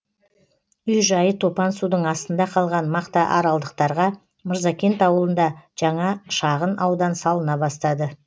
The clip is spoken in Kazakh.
үй жайы топан судың астында қалған мақтааралдықтарға мырзакент ауылында жаңа шағын аудан салына бастады